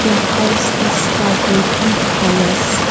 the house is covered with forest.